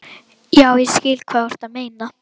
Já, ég skil hvað þú ert að meina.